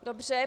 Dobře.